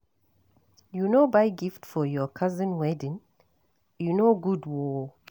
You no buy gift for your cousin wedding? E no good oo